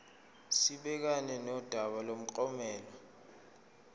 sibhekane nodaba lomklomelo